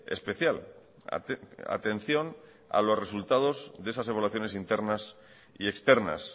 especial atención a los resultados de esas evaluaciones internas y externas